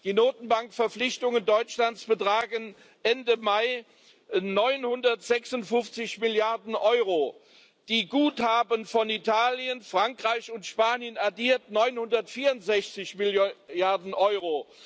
Die Notenbankverpflichtungen Deutschlands betragen Ende Mai 956 Milliarden Euro, die Guthaben von Italien, Frankreich und Spanien addiert 964 Milliarden Euro.